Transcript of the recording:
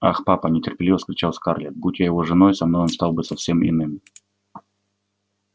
ах папа нетерпеливо вскричала скарлетт будь я его женой со мной он стал бы совсем иным